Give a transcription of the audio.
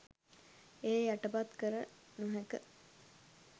එය යටපත් කල නොහෑක.